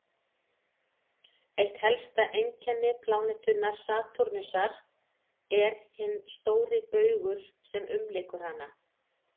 eitt helsta einkenni plánetunnar satúrnusar er hinn stóri baugur sem umlykur hana